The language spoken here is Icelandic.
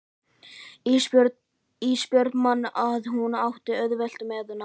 Ísbjörg man að hún átti auðvelt með nám.